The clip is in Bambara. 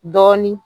Dɔɔnin